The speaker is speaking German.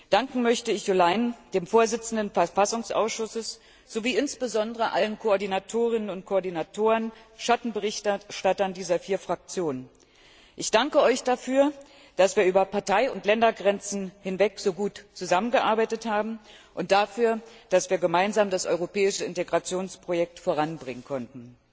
Danken möchte ich Jo Leinen, dem Vorsitzenden des konstitutionellen Ausschusses, sowie insbesondere allen Koordinatorinnen und Koordinatoren sowie Schattenberichterstattern dieser vier Fraktionen. Ich danke Euch dafür, dass wir über Partei und Ländergrenzen hinweg so gut zusammengearbeitet haben, und dafür, dass wir gemeinsam das europäische Integrationsprojekt voranbringen konnten.